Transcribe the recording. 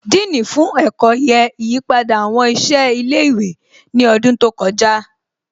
Dean fún ẹ̀kọ́ yẹ ìyípadà àwọn ìṣe ilé ìwé ní ọdún tó kọjá